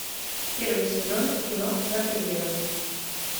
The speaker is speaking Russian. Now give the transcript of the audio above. первый сезон кино за пределами